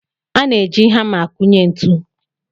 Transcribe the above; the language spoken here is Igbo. A na-eji hama akụnye ntụ.